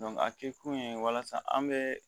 a kɛ kun ye walasa an be